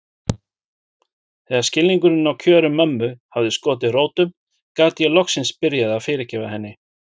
Þegar skilningurinn á kjörum mömmu hafði skotið rótum gat ég loksins byrjað að fyrirgefa henni.